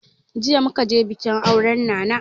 Jiya muka je bikin auren nana